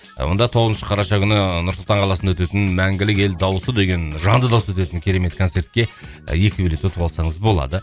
онда тоғызыншы қараша күні нұр сұлтан қаласында өтетін мәңгілік ел дауысы деген жанды дауыста өтетін керемет концертке і екі билет ұтып алсаңыз болады